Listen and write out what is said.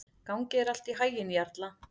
Gangi þér allt í haginn, Jarla.